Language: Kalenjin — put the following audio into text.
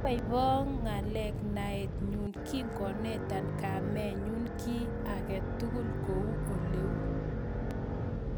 Ibaiboo ngaa naet nyuu kikonetaa komayan kiit age tugul kou oleuu